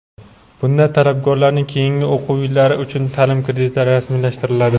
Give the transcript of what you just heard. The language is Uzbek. Bunda talabgorlarning keyingi o‘quv yillari uchun taʼlim kreditlari rasmiylashtiriladi.